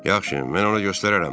Yaxşı, mən ona göstərərəm.